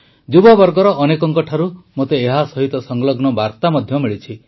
ଯୁବବର୍ଗର ଅନେକଙ୍କ ଠାରୁ ମୋତେ ଏହାସହିତ ସଂଲଗ୍ନ ବାର୍ତା ମଧ୍ୟ ମିଳିଛି